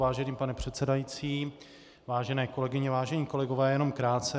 Vážený pane předsedající, vážené kolegyně, vážení kolegové, jenom krátce.